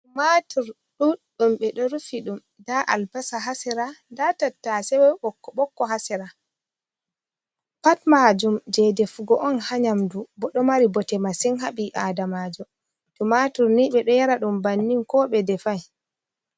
Tumatur ɗuɗɗum ɓe ɗo rufi ɗum nda albasa haa sera nda tattaase ɓokko-ɓokko haa sera pat maajum jay defugo on, haa nyaamdu boo ɗo mari bote masin haa ɓi aadamaajo. Tumatur ni ɓe ɗo yara ɗum bannin ko ɓe defay.